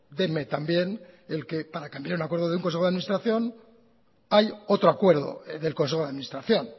denme también el que para cambiar un acuerdo de un consejo de administración hay otro acuerdo del consejo de administración